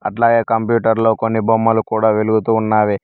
అట్లాగే కంప్యూటర్లో కొన్ని బొమ్మలు కూడా వెలుగుతూ ఉన్నావి.